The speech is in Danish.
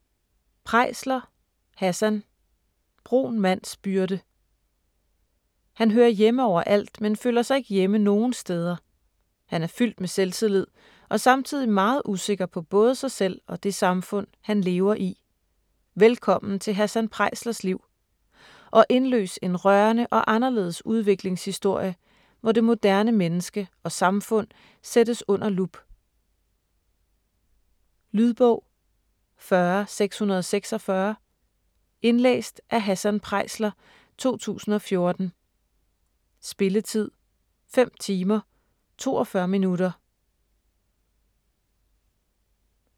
Preisler, Hassan: Brun mands byrde Han hører hjemme over alt, men føler sig ikke hjemme nogen steder. Han er fyldt med selvtillid, og samtidig meget usikker på både sig selv og det samfund han lever i. Velkommen til Hassan Preislers liv - og indløs en rørende og anderledes udviklingshistorie, hvor det moderne menneske og samfund sættes under lup. Lydbog 40646 Indlæst af Hassan Preisler, 2014. Spilletid: 5 timer, 42 minutter.